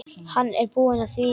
Hann er búinn að því.